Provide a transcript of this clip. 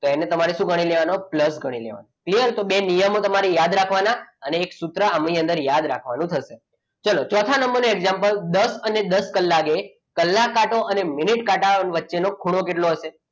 તો એને તમારે શું ગણી લેવાનું? પ્લસ ગણી લેવાનું ક્લિયર તો તમારે બે નિયમો યાદ રાખવાના અને એક સૂત્ર આની અંદર યાદ રાખવાનું થશે ચલો ચોથા નંબરનું example દસ અને દસ કલાકે કલાક કાંટા અને મિનિટ કાંટા વચ્ચે નો ખૂણો કેટલો હશે?